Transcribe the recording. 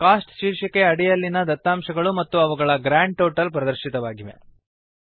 coast ಶೀರ್ಷಿಕೆಯ ಅಡಿಯಲ್ಲಿನ ದತ್ತಾಂಶಗಳು ಮತ್ತು ಅವುಗಳ ಗ್ರಾಂಡ್ ಟೋಟಲ್ ಪ್ರದರ್ಶಿತವಾಗಿದೆ